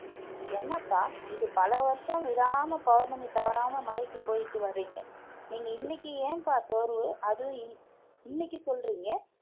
என்னப்பா இது பல வருஷம் விடாம பௌர்ணமி தவறாம மலைக்கு போயிட்டு வர்றீங்க நீங்க இன்னைக்கு ஏன்பா சோர்வு அதுவும் இன்~ இன்னைக்கு சொல்றீங்க